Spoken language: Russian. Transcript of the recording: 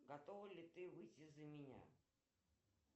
готова ли ты выйти за меня